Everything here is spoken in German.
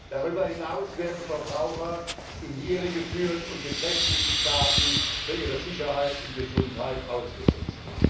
Darüber hinaus werden Verbraucher in die Irre geführt und beträchtlichem Schaden für ihre Sicherheit und Gesundheit ausgesetzt.